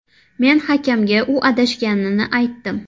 Men hakamga u adashganini aytdim.